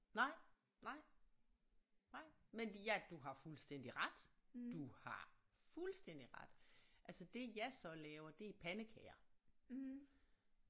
Nej nej nej men de er du har fuldstændig ret du har fuldstændig ret altså det jeg så laver det er pandekager